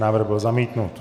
Návrh byl zamítnut.